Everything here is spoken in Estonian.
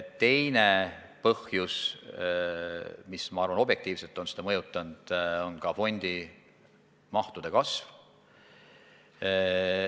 Teine põhjus, mis minu arvates on objektiivselt seda mõjutanud, on fondimahtude kasv.